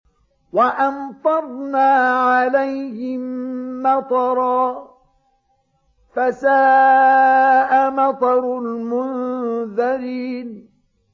وَأَمْطَرْنَا عَلَيْهِم مَّطَرًا ۖ فَسَاءَ مَطَرُ الْمُنذَرِينَ